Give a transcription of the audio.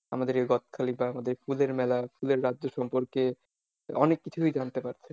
আমাদের এই গদখালি বা আমাদের ফুলের মেলা ফুলের রাজ্য সম্পর্কে অনেক কিছুই জানতে পারছে।